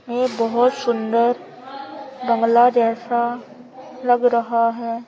ये बहुत सुंदर बांग्ला जैसा लग रहा है।